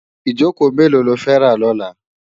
Ijókó méló ló fè rá lòlá?